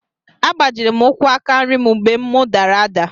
A gbajiri m ụkwú aka nri m mgbe mụ dara ada.